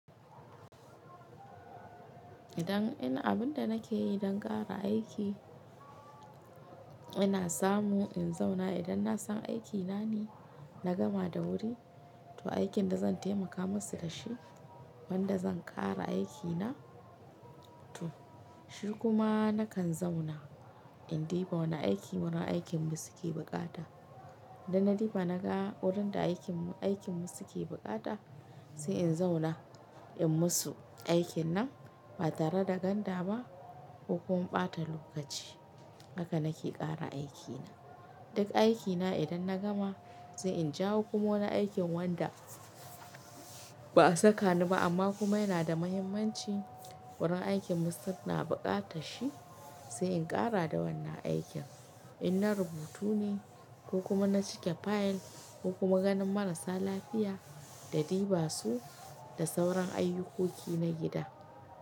Idan ina abun da nake yi don ƙara aiki, ina samu in zauna idan na san aikina ne na gama da wuri. To aikin da zan taimaka musu da shi, wanda zan ƙara aikina to shi kuma nakan zauna in diba wane aiki wurin aikin mu suke buƙata. Idan na ɗiba na ga wajen da aikin aikin mu suke buƙata sai in zauna in musu aikin nan ba tare da ganda ba ko kuma ɓata lokaci. Haka nake ƙara aikina. Duk aikina idan na gama sai in jawo kuma wani aikin wanda ba a saka ni ba amma kuma yana da muhimmanci wurin aikin mu su na buƙata shi sai in ƙara da wannan aikin. In na rubutu ne ko kuma na cike fayil ko kuma ganin marasa lafiya da ɗiba su da sauran ayyukoki na gida.